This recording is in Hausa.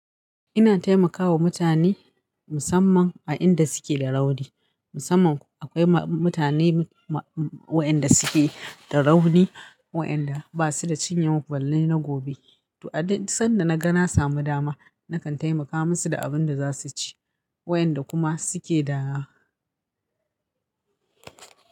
Ina taimakawa mutane musamman a inda suke da rauni. Musamman akwai mutane waɗanda suke da rauni, waɗanda ba su da cinyan ballai na gobe. To, sanda na ga na samu dama, na kan taimaka musu da abin da za su ci wayanda kuma suke da.